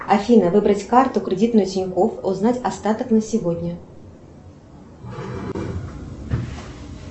афина выбрать карту кредитную тинькофф узнать остаток на сегодня